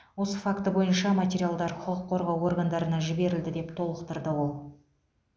осы факті бойынша материалдар құқық қорғау органдарына жіберілді деп толықтырды ол